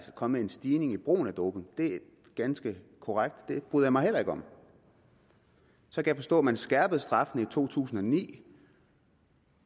kommet en stigning i brugen af doping det er ganske korrekt og det bryder jeg mig heller ikke om jeg kan forstå at man skærpede straffen i to tusind og ni